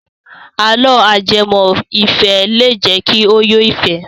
Àlọ́ ajẹmọ́-ìfẹ́ lè jẹ́ kí o yó fẹ̀ẹ́.